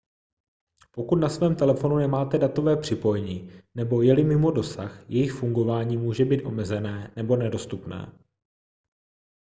pokud na svém telefonu nemáte datové připojení nebo je-li mimo dosah jejich fungování může být omezené nebo nedostupné